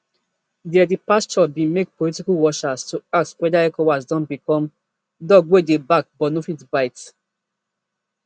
dia departure bin make political watchers to ask whether ecowas don become dog wey dey bark but no fit bite